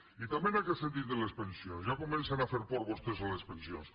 i també en aquest sentit de les pensions ja comencen a fer por vostès amb les pensions